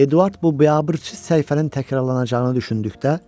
Eduard bu biabırçı səhifənin təkrarlanacağını düşündü.